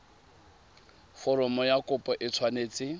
foromo ya kopo e tshwanetse